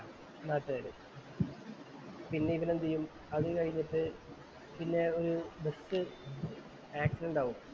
നാട്ടുകാര്. പിന്നെ ഇവൻ എന്ത് ചെയ്യും അതുകഴിഞ്ഞിട്ട് പിന്നെ ഒരു ബസ്‌ ആക്സിഡെൻറ് ആകും